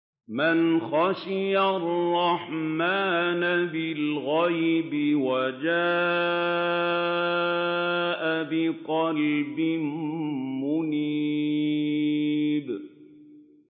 مَّنْ خَشِيَ الرَّحْمَٰنَ بِالْغَيْبِ وَجَاءَ بِقَلْبٍ مُّنِيبٍ